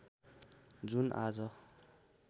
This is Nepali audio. जुन आज